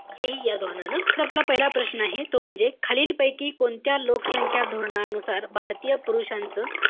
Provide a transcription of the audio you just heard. हे हि धोरणानं. त आपला पहिला प्रश आहे, तो म्हणजे, खालीलपैकी कोणत्या लोकसंख्या धोरणानुसार भारतीय पुरुषांचं,